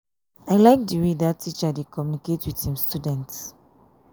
i like the way dat teacher dey communicate with im students